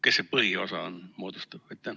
Kes selle põhiosa moodustab?